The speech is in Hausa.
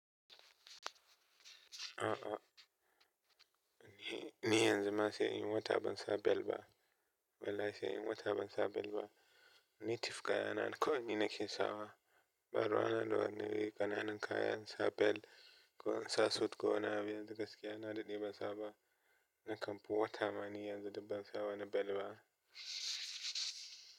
A 'a. Ehm ni yanzu ma sai inyi wata ban sa bel ba. Wallahi sai inyi wata ban sa bel ba. Native kaya na, kawai ni nake sawa. Ɓaruwa na da wani ƙananan kaya in sa bel ko in sa suit ko wani abu yanzu gaskiya na daɗe ban saba. Na kamfu wata ma ni yanzu da bansa wani bel ba.